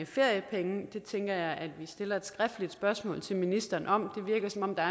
feriepenge det tænker jeg at vi stiller et skriftligt spørgsmål til ministeren om det virker som om der